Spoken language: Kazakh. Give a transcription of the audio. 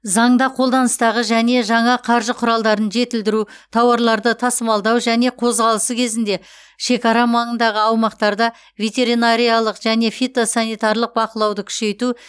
заңда қолданыстағы және жаңа қаржы құралдарын жетілдіру тауарларды тасымалдау және қозғалысы кезінде шекара маңындағы аумақтарда ветеринариялық және фитосанитарлық бақылауды күшейту